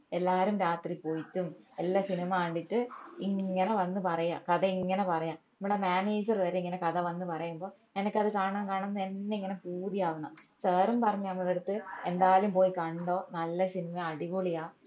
എല്ലാരും രാത്രി പോയിട്ടും എല്ലൊം സിനിമ കണ്ടിട്ട് ഇങ്ങനെ വന്ന് പറയുവാ കഥ ഇങ്ങനെ പറയുവാ നമ്മടെ manager വെര ഇങ്ങനെ കഥ വന്ന് പറയുമ്പോ അനക്കത് കാണണം കാണണം എന്ന് തന്നെ ഇങ്ങനെ പൂതി ആവുന്നു sir ഉം പറഞ്ഞു ഞമ്മളടുത്തു എന്താലും പോയി കണ്ടോ നല്ല സിനിമയാ അടിപൊളിയാ